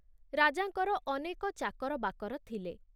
ରାଜାଙ୍କର ଅନେକ ଚାକରବାକର ଥିଲେ।